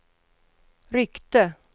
ryckte